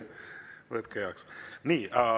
Võtke heaks!